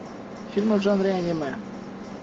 фильмы в жанре аниме